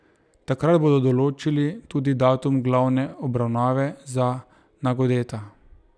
Takrat bodo določili tudi datum glavne obravnave za Nagodeta.